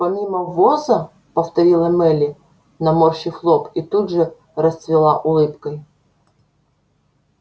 помимо ввоза повторила мелли наморщив лоб и тут же расцвела улыбкой